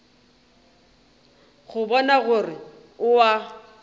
go bona gore o a